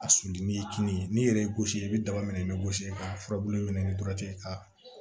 A suli ni kini ye n'i yɛrɛ y'i gosi i bɛ daba minɛ i bɛ gosi ka furabulu ɲini ka